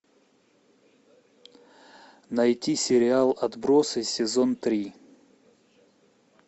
найти сериал отбросы сезон три